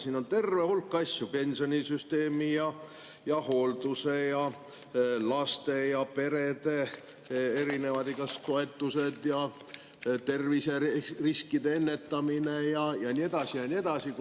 Siin on terve hulk asju: pensionisüsteemi, hooldust, lapsi ja peresid puudutavad igasugused meetmed, terviseriskide ennetamine ja nii edasi ja nii edasi.